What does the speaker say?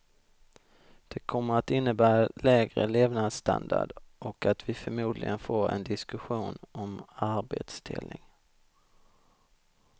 Det kommer att innebära lägre levnadsstandard och att vi förmodligen får en diskussion om arbetsdelning.